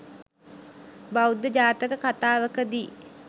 බෞද්ධ ජාතක කථාවක දී